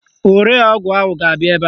Ore ọgwụ ahụ ga-abịa ebe a.